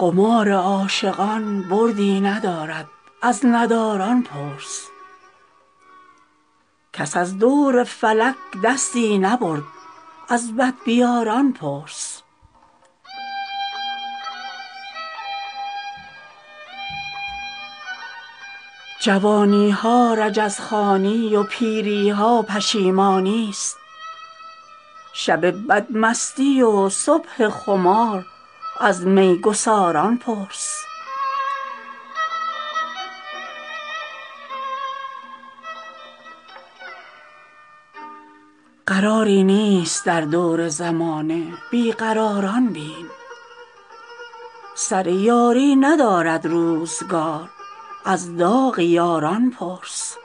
قمار عاشقان بردی ندارد از نداران پرس کس از دور فلک دستی نبرد از بدبیاران پرس جوانی ها رجزخوانی و پیری ها پشیمانی است شب بدمستی و صبح خمار از میگساران پرس قراری نیست در دور زمانه بی قراران بین سر یاری ندارد روزگار از داغ یاران پرس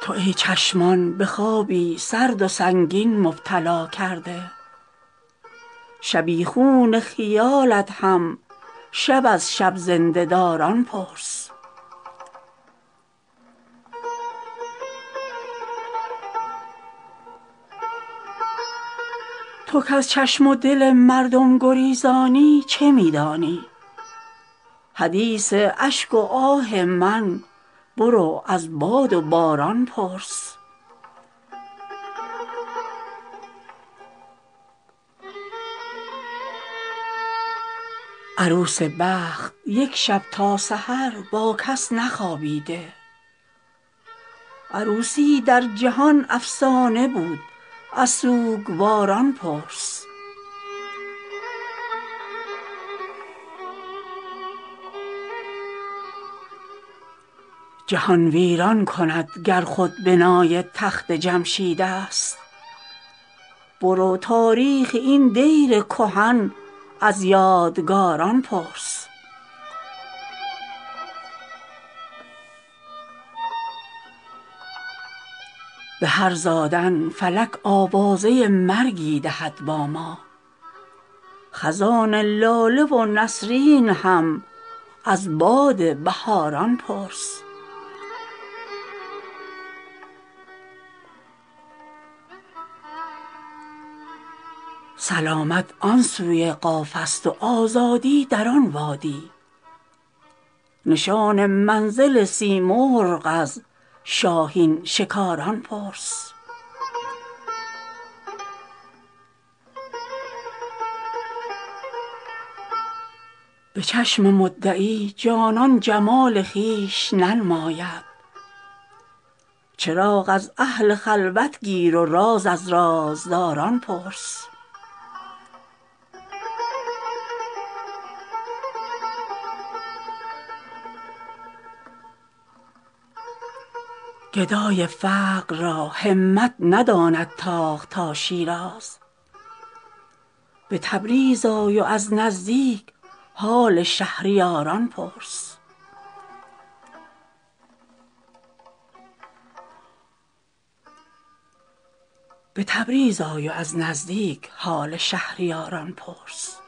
تو ای چشمان به خوابی سرد و سنگین مبتلا کرده شبیخون خیالت هم شب از شب زنده داران پرس تو کز چشم و دل مردم گریزانی چه می دانی حدیث اشک و آه من برو از باد و باران پرس عروس بخت یک شب تا سحر با کس نخوابیده عروسی در جهان افسانه بود از سوگواران پرس سر بشکسته هر صبح آفتاب از دره ای خیزد به کام ار توسن ایام دیدی از سواران پرس فلک با پشت خم دانی به گوش ما چه می گوید جوانا سرنوشت از سرگذشت روزگاران پرس به شاخ دشمنی یک میوه شیرین نمی روید برو باغ محبت کار و کار از کشت کاران پرس جهان ویران کند گر خود بنای تخت جمشید است برو تاریخ این دیر کهن از یادگاران پرس به هر خشتی که خود آیینه اسکندر و داراست شکست جان جم بین وز شکوه کامکاران پرس به شعر یادباد خواجه ام خاطر شبی خون شد سپاهان زنده کن وز زنده رود باغکاران پرس به هر زادن فلک آوازه مرگی دهد با ما خزان لاله و نسرین هم از باد بهاران پرس سلامت آن سوی قاف است و آزادی در آن وادی نشان منزل سیمرغ از شاهین شکاران پرس به چشم مدعی جانان جمال خویش ننماید چراغ از اهل خلوت گیر و راز از رازداران پرس گدای فقر را همت نداند تاخت تا شیراز به تبریز آی و از نزدیک حال شهریاران پرس